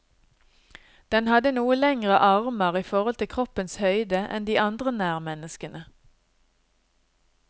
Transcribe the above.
Den hadde noe lengre armer i forhold til kroppens høyde enn de andre nærmenneskene.